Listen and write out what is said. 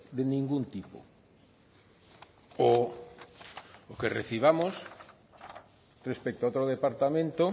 de ningún tipo o que recibamos respecto a otro departamento